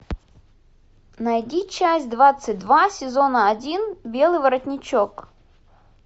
найди часть двадцать два сезона один белый воротничок